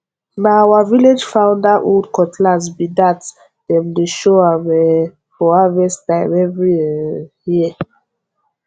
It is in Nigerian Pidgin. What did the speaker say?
na our village founder old cutlass be thatdem dey show am um for harvest time every um year